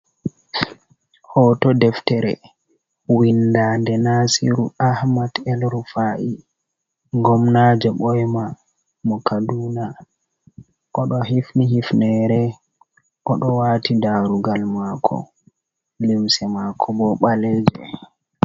Hooto deftere windade Nasiru Ahmad El-Rufa’i Gomnajo ɓoyma mo Kaduna. Oɗo hifni hifneere oɗo wati darugal maako, limse mako bo ɓaleje.